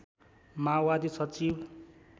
माओवादी सचिव